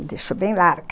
Me deixou bem larga.